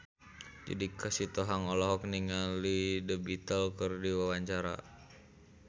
Judika Sitohang olohok ningali The Beatles keur diwawancara